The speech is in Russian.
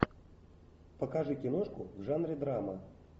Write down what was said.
покажи киношку в жанре драма